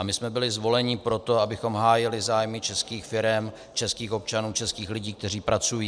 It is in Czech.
A my jsme byli zvoleni proto, abychom hájili zájmy českých firem, českých občanů, českých lidí, kteří pracují.